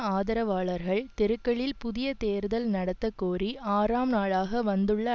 ஆதரவாளர்கள் தெருக்களில் புதிய தேர்தல் நடத்த கோரி ஆறாம் நாளாக வந்துள்ள